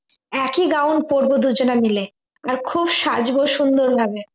একই gown পরবা দুজনে মিলে আর খুব সাজব সুন্দর হবে